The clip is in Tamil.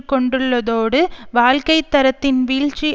கொண்டுள்ளதோடு வாழ்க்கை தரத்தின் வீழ்ச்சி